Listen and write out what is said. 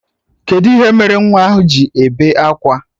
Kedụ ihe mere nwa ahụ ji ebe akwa?